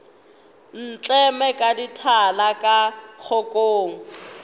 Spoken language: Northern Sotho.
ntleme ka dithala tša kgokong